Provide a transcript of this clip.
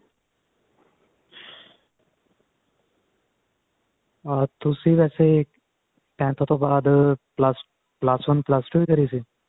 ਅਹ ਤੁਸੀਂ ਵੈਸੇ tenth ਤੋਂ ਬਾਅਦ plus plus one or plus two ਹੀ ਕਰੀ ਸੀ